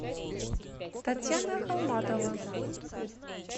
татьяна холматова